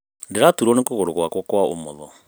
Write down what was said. Ndĩraturwo nĩ kũgũrũ gwakwa kwa ũmotho.